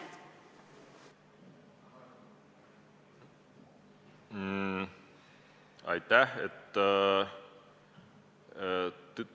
Aitäh!